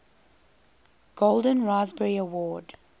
golden raspberry award